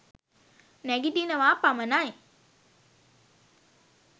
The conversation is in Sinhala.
නැගිටිනවා පමණයි.